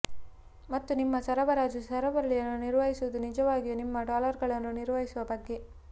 ಮತ್ತು ನಿಮ್ಮ ಸರಬರಾಜು ಸರಪಳಿಯನ್ನು ನಿರ್ವಹಿಸುವುದು ನಿಜವಾಗಿಯೂ ನಿಮ್ಮ ಡಾಲರ್ಗಳನ್ನು ನಿರ್ವಹಿಸುವ ಬಗ್ಗೆ